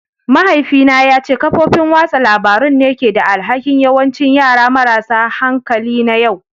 Mahaifina ya ce kafofin watsa labarun ne ke da alhakin yawancin yara marasa hankali na yau